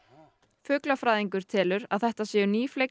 fuglafræðingur telur að þetta séu